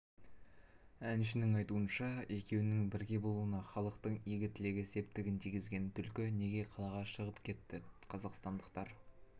әншінің айтуынша екеуінің бірге болуына халықтың игі тілегі септігін тигізген түлкі неге қалаға шығып кетт қазақстандықтар